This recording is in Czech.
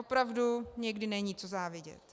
Opravdu někdy není co závidět.